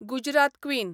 Gujarat queen